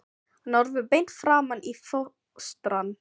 Hann horfir beint framan í fóstrann.